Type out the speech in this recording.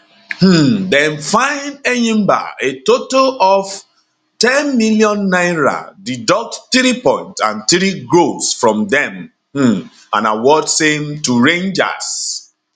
um dem fine enyimba a total of n10 million deduct three points and three goals from dem um and award same to rangers